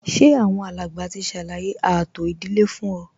Ṣé àwọn alàgbà ti ṣàlàyé ààtò ìdílé fún ọ